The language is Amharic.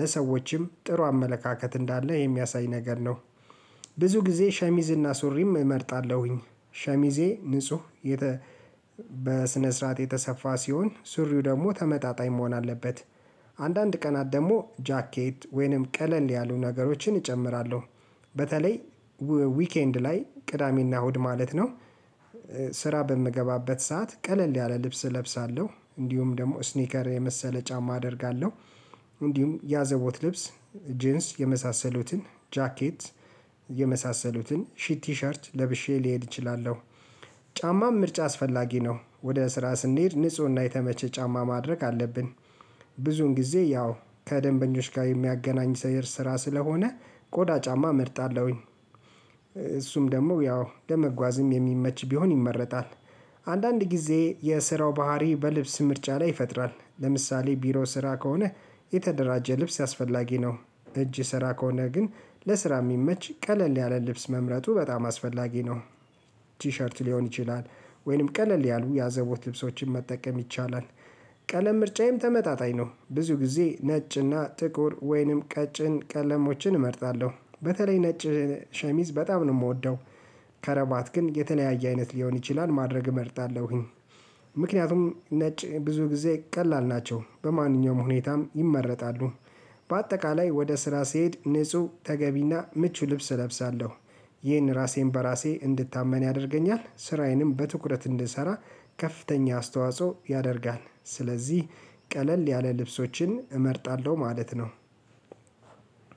ለሰዎችም ጥሩ አመለካከት እንዳለ የሚያሳይ ነገር ነው። ብዙ ጊዜ ሸሚዝና ሱሪም እመርጣለሁኝ ሸሚዜ ንጹህ በስነ ስርዓት የተሰፋ ሲሆን ሱሪው ደግሞ ተመጣጣኝ መሆን አለበት። አንዳንድ ቀናት ደግሞ ጃኬት ወይንም ቀለል ያሉ ነገሮችን እጨምራለሁ በተለይ ዊኬንድ ላይ ቅዳሜና እሁድ ማለት ነው። ስራ በምገባበት ሰዓት ቀለል ያለ ልብስ እለብሳለሁ እንዲሁም ደግሞ ስኒከር የመሰለ ጫማ አደርጋለሁ። እንዲሁም ያዘቦት ልብስ ጂንስ የመሳሰሉትን ጃኬት የመሳሰሉትን ሺት ቲሸርት ለብሼ ሊሄድ እችላለሁ። ጫማም ምርጫ አስፈላጊ ነው ወደ ስራ ስንሄድ ንፁህና የተመቸ ጫማ ማድረግ አለብን። ብዙን ጊዜ ያው ከደንበኞች ጋር የሚያገናኝ ሰይር ስራ ስለሆነ ቆዳ ጫማ እመርጣለሁኝ። እሱም ደግሞ ያው ለመጓዝም የሚመች ቢሆን ይመረጣል። አንዳንድ ጊዜ የስራው ባህሪ በልብስ ምርጫ ላይ ይፈጥራል ለምሳሌ ቢሮ ስራ ከሆነ የተደራጀ ልብስ አስፈላጊ ነው። እጅ ስራ ከሆነ ግን ለስራ የሚመች ቀለል ያለ ልብስ መምረጡ በጣም አስፈላጊ ነው። ቲሸርት ሊሆን ይችላል ወይንም ቀለል ያሉ ያዘቦት ልብሶችን መጠቀም ይቻላል። ቀለም ምርጫዬም ተመጣጣኝ ነው ብዙ ጊዜ ነጭና ጥቁር ወይንም ቀጭን ቀለሞችን እመርጣለሁ በተለይ ነጭ ሸሚዝ በጣም ነው የምወደው። ከረባት ግን የተለያየ አይነት ሊሆን ይችላል ማድረግ እመርጣለሁኝ። ምክንያቱም ነጭ ብዙ ጊዜ ቀላል ናቸው በማንኛውም ሁኔታም ይመረጣሉ። በአጠቃላይ ወደ ስራ ስሄድ ንጹህ ተገቢና ምቹ ልብስ እለብሳለሁ። ይህን ራሴን በራሴ እንድታመን ያደርገኛል ስራዬንም በትኩረት እንድሰራ ከፍተኛ አስተዋጽኦ ያደርጋል ስለዚህ ቀለል ያለ ልብሶችን እመርጣለሁ ማለት ነው።